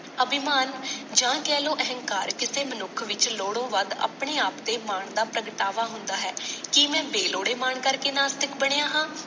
ਅਭਿਮਾਨ ਜਾਂ ਕਹਿ ਲਵੋ ਅਹੰਕਾਰ ਕਿਸੇ ਮਨੁੱਖ ਵਿਚ ਲੋੜੋਂ ਵੱਧ ਆਪਣੇ ਆਪ ਤੇ ਮਾਣ ਦਾ ਪ੍ਰਗਟਾਵਾ ਹੁੰਦਾ ਹੈ, ਕੀ ਮੈਂ ਬੇਲੋੜੇ ਮਾਣ ਕਰਕੇ ਨਾਸਤਿਕ ਬਣਿਆ ਹਾਂ